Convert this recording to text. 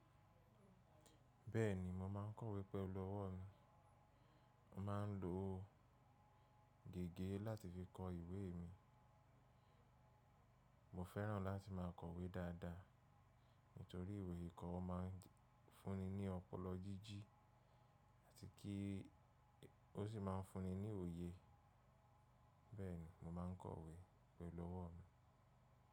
Bẹ́ẹ̀ni, mo máa ń kọ̀wé pẹ̀lú ọwọ́ mi, mo máa ń lo gègé láti fi kọ ìwé mi. Mo fẹ́ràn láti máa kọ̀wé dáadáa, nítorí ìwé ìkọ́ máa ń fúnni ní ọpọlọ jíji, àti kí ó sì máa ń fúnni ní òye. Bẹ́ẹ̀ni mo máa ń kọ̀wé pẹ̀lú ọwọ́ mi.